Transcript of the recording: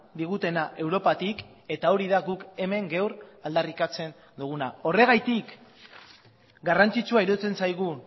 digutena europatik eta hori da guk hemen gaur aldarrikatzen duguna horregatik garrantzitsua iruditzen zaigu